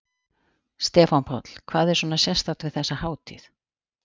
Stefán Páll: Hvað er svona sérstakt við þessa hátíð?